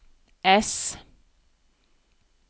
ess